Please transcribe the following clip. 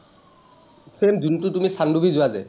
same যোনটো তুমি চানডুবি যোৱা যে।